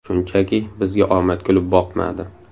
Shunchaki, bizga omad kulib boqmadi.